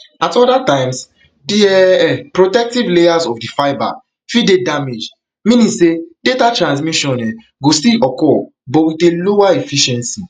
at oda times di um protective layers of di fibre fit dey damaged meaning say data transmission um go still occur but wit a lower efficiency